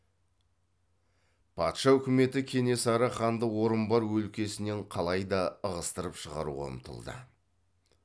патша үкіметі кенесары ханды орынбор өлкесінен қалай да ығыстырып шығаруға ұмтылды